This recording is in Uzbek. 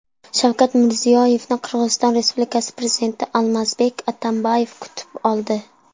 Shavkat Mirziyoyevni Qirg‘iziston Respublikasi prezidenti Almazbek Atamboyev kutib oldi.